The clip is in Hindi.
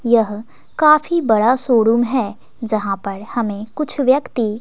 यह काफी बड़ा शोरूम है। जहां पर हमें कुछ व्यक्ति--